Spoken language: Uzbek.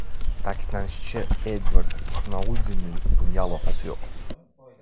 Ta’kidlanishicha, Edvard Snoudenning bunga aloqasi yo‘q.